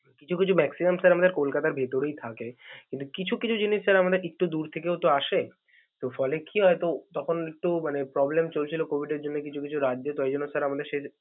কিছু কিছু maxium আমাদের কলকাতার ভিতরেই থাকে কিন্তু কিছু কিছু জিনিস sir আমাদের একটু দূর থেকেও তো আসে ফলে কি হয় তো তখন একটু মানে problem চলছিল COVID এর জন্য কিছু কিছু রাজ্যে তো এই জন্য sir আমাদের সেই.